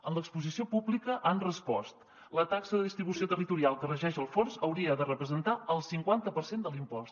en l’exposició pública han respost la taxa de distribució territorial que regeix el fons hauria de representar el cinquanta per cent de l’impost